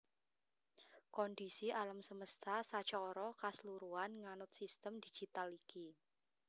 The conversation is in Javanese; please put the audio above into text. Kondhisi alam semesta sacara kasluruhan nganut sistem digital iki